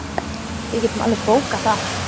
Við getum alveg bókað það.